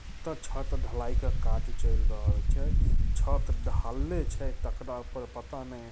छत ढलाई का काज छल रहल छै छत ढहल छै तकरा ऊपर पता नहीं।